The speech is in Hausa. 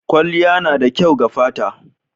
Kwalliya na da kyau ga fata.